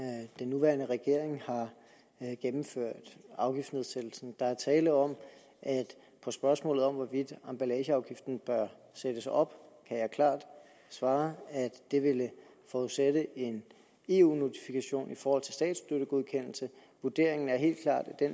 den nuværende regering har gennemført afgiftsnedsættelsen der er tale om at på spørgsmålet om hvorvidt emballageafgiften bør sættes op kan jeg klart svare at det ville forudsætte en eu notifikation i forhold til statsstøttegodkendelse vurderingen er helt klart at